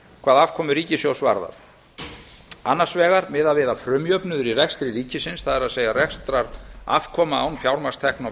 hvað afkomu ríkissjóðs varðar annars vegar hefur verið miðað við að frumjöfnuður í rekstri ríkisins það er rekstrarafkoma án fjármagnstekna og